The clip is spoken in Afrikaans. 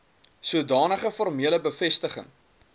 sodanige formele bevestiging